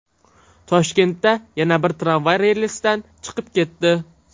Toshkentda yana bir tramvay relsidan chiqib ketdi.